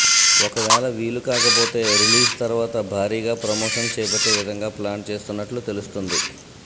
ఒకవేళ వీలు కాకపోతే రిలీజ్ తర్వాత భారీగా ప్రమోషన్ చేపట్టే విధంగా ప్లాన్ చేస్తున్నట్టు తెలుస్తున్నది